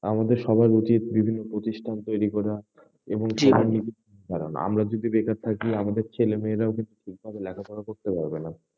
আমাদের সবার উচিৎ বিভিন্ন প্রতিষ্ঠান তৈরি করা এবং কারণ আমরা যদি বেকার থাকি, আমাদের ছেলে মেয়ে রাও ঠিক মত লেখাপড়া করতে পারবেনা।